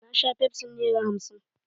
Na sha fefsin nera hamsin.